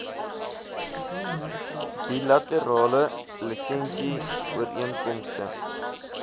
bilaterale lisensie ooreenkomste